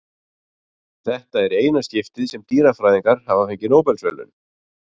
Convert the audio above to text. Þetta er í eina skiptið sem dýrafræðingar hafa fengið Nóbelsverðlaun.